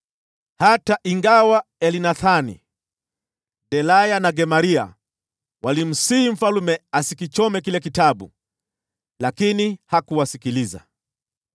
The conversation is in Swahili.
Hata ingawa Elnathani, Delaya na Gemaria walimsihi mfalme asikichome kile kitabu, yeye hakuwasikiliza.